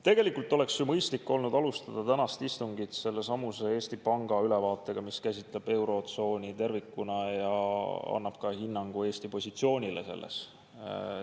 Tegelikult oleks ju mõistlik olnud alustada tänast istungit Eesti Panga ülevaatega, mis käsitleb eurotsooni tervikuna ja annab ka hinnangu Eesti positsioonile selles.